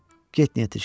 Get Netişka.